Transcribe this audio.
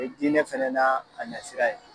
diinɛ fana na a nasira ye.